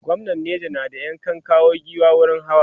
gwamnan neja na da ya kan kawo giwa wurin hawa